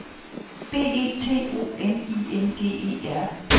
B E T O N I N G E R